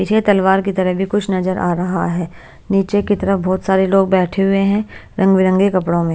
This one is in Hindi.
पीछे तलवार की तरह भी कुछ नजर आ रहा है नीचे की तरफ बहोत सारे लोग बैठे हुए हैं रंग बिरंगे कपड़ों में--